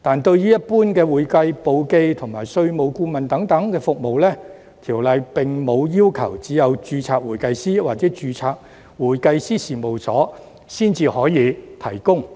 對於一般的會計簿記及稅務顧問等服務，《條例》並無要求只有註冊會計師或註冊會計師事務所才可以提供。